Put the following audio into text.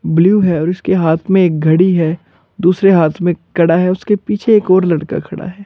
Blue है और उसके हाथ में एक घड़ी है दूसरे हाथ में कड़ा है उसके पीछे एक और लड़का खड़ा है।